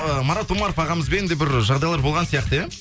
ы марат омаров ағамызбен де бір жағдайлар болған сияқты иә